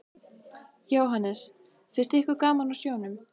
Jóhannes: Finnst ykkur gaman á sjónum?